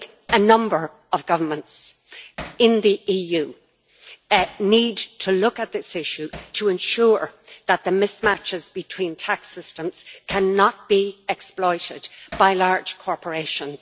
A number of governments in the EU need to look at this issue to ensure that the mismatches between tax systems cannot be exploited by large corporations.